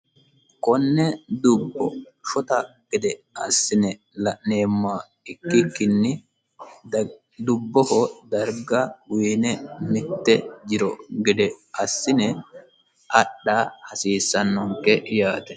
konne dubbo shota gede assi ne la'neemmoha ikkikinni dubboho darga uyiine mitte jiro gede assine adha hasiissannonke yaate.